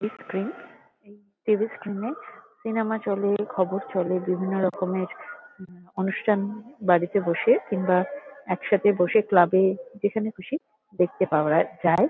TV. -এর screen. এই TV. -এর স্ক্রীন -এ সিনেমা চলে খবর চলে বিভিন্নরকমের অনুষ্ঠান বাড়িতে বসে কিংবা একসাথে বসে ক্লাব -এ যেখানে খুশি দেখতে পাওয়া যায়।